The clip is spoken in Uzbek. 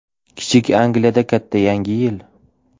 Kichik Angliyada katta Yangi yil!.